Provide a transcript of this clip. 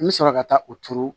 N bɛ sɔrɔ ka taa u turu